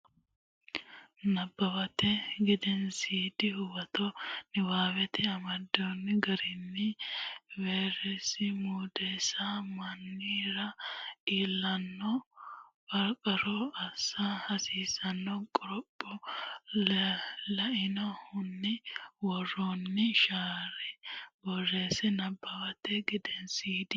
Nabbawate Gedensiidi Huwato Niwaawete amado garinni vayrese mundeensa mannira iillanno qarranna assa hasiissanno qoropho lainohunni woroonni shaera borreesse Nabbawate Gedensiidi.